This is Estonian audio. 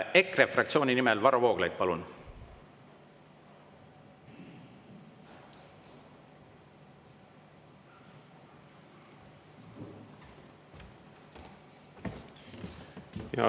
EKRE fraktsiooni nimel Varro Vooglaid, palun!